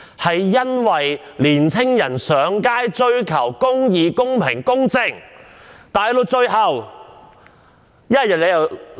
青年人上街追求公義、公平、公正，最後全部被拘捕。